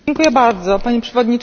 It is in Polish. Pani Przewodnicząca!